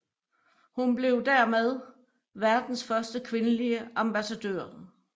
Hun blev dermed verdens første kvindelige ambassadør